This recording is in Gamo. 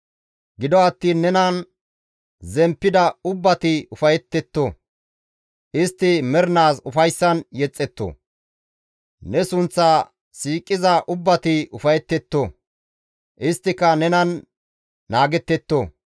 Gido attiin nenan zemppida ubbati ufayetetto; istti mernaas ufayssan yexxetto. Ne sunththa siiqiza ubbati ufayetetto; isttika nenan naagettetto.